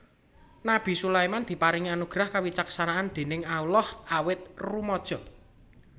Nabi Sulaiman diparingi anugrah kewicaksanan déning Allah awit rumaja